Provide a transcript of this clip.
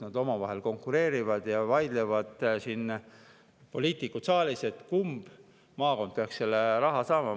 Nad omavahel konkureerivad ja poliitikud vaidlevad siin saalis, kumb maakond peaks selle raha saama.